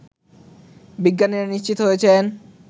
বিজ্ঞানীরা নিশ্চিত হয়েছেন